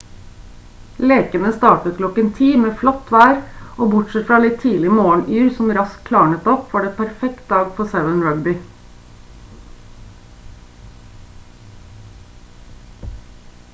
lekene startet klokken 10:00 med flott vær og bortsett fra litt tidlig morgenyr som raskt klarnet opp var det en perfekt dag for 7-rugby